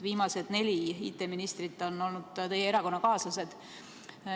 Viimased neli IT-ministrit on olnud teie erakonnakaaslased.